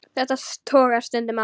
Þetta togast stundum á.